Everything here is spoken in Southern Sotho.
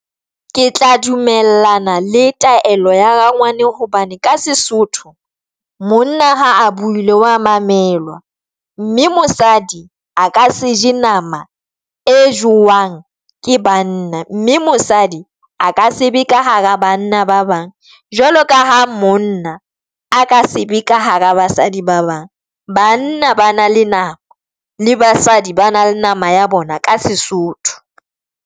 Ke tla dumellana le taelo ya rangwane, hobane ka Sesotho monna ha a buile wa mamelwa, mme mosadi a ka se je nama e jewang ke banna mme mosadi a ka sebe ka hara banna ba bang Jwaloka ha monna a ka sebe ka hara basadi ba bang, banna ba na nama ya bona, le basadi, ba na le nama ya bona ka Sesotho.